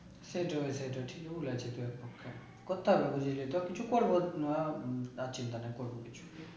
সেটাই সেটাই ঠিক বলেছিস একদম করতে হবে বুঝলি তো কিছু করবো না আহ চিন্তা নেই করবো কিছু